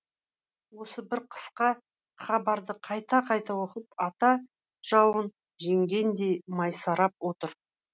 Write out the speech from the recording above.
осы бір қысқа хабарды қайта қайта оқып ата жауын жеңгендей масайрап отыр